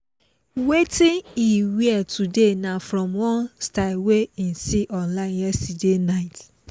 wetin he wear today na from one style wey him see online yesterday night.